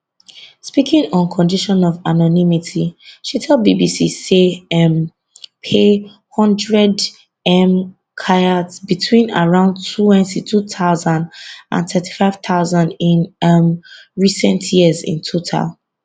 speaking on condition of anonymity she tell bbc say she um pay 100m kyats between around 22000 and 35000 in um recent years in total